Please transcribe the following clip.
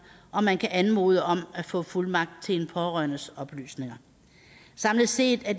og man kan anmode om at få fuldmagt til en pårørendes oplysninger samlet set er